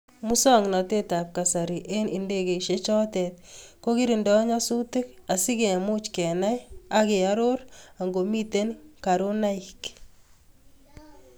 Musoknatetab kasari eng indegeisyechotok kokiringdoi nyasutiik asi kemuch kenai ak koaror angomitei karonaik.